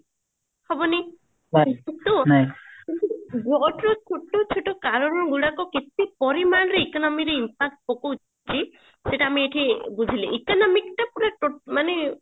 ହବନି drought ର ଛୋଟ ଛୋଟ କାରଣ ଗୁଡାକ କେତେ ପରିମାଣରେ economy ରେ impact ପକୋଉଛି ସେଟା ଆମେ ଏଠି ବୁଝିଲେ economic ଟା ମାନେ